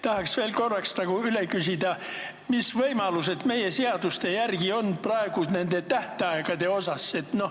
Tahaks veel korra üle küsida, mis võimalused meie seaduste järgi on praegu nende tähtaegadega.